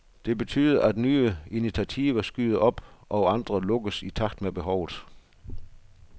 Det betyder, at nye initiativer skyder op og andre lukkes i takt med behovet.